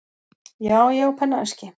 Já, ég á pennaveski.